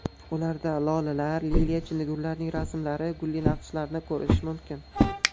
Ularda lolalar, liliya, chinnigullarning rasmlari, gulli naqshlarni ko‘rish mumkin.